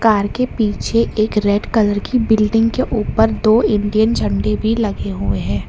Car के पीछे एक रेड कलर की बिल्डिंग के ऊपर दो इंडियन झंडे भी लगे हुए हैं।